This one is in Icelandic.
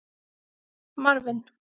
Marvin